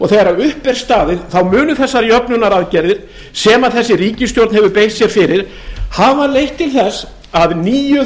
þegar upp er staðið munu þessar jöfnunaraðgerðir sem þessi ríkisstjórn hefur beitt sér fyrir hafa leitt til þess að níu